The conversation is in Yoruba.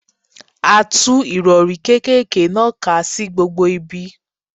A tú Ìrọ̀rí kékèké náà ká sí gbogbo ibi.